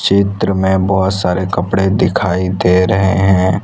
चित्र में बहोत सारे कपड़े दिखाई दे रहे हैं।